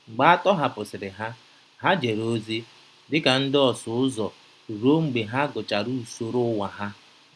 Mgbe a tọhapụsịrị ha, ha jere ozi dị ka ndị ọsụ ụzọ ruo mgbe ha gụchara usoro ụwa ha.